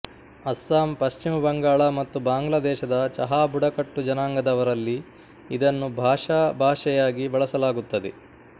ಅಸ್ಸಾಂ ಪಶ್ಚಿಮ ಬಂಗಾಳ ಮತ್ತು ಬಾಂಗ್ಲಾದೇಶದ ಚಹಾಬುಡಕಟ್ಟು ಜನಾಂಗದವರಲ್ಲಿ ಇದನ್ನು ಭಾಷಾ ಭಾಷೆಯಾಗಿ ಬಳಸಲಾಗುತ್ತದೆ